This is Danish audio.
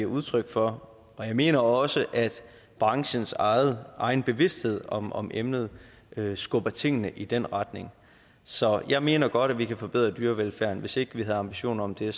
udtryk for og jeg mener også at branchens egen egen bevidsthed om om emnet skubber tingene i den retning så jeg mener godt at vi kan forbedre dyrevelfærden hvis ikke vi havde ambitioner om det